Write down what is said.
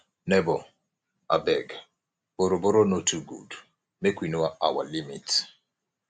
neighbor abeg borrow borrow no too good make we know our limit